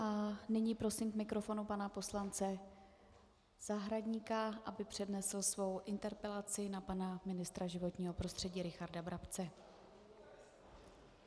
A nyní prosím k mikrofonu pana poslance Zahradníka, aby přednesl svou interpelaci na pana ministra životního prostředí Richarda Brabce.